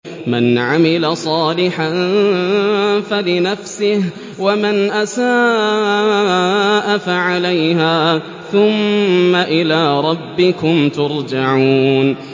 مَنْ عَمِلَ صَالِحًا فَلِنَفْسِهِ ۖ وَمَنْ أَسَاءَ فَعَلَيْهَا ۖ ثُمَّ إِلَىٰ رَبِّكُمْ تُرْجَعُونَ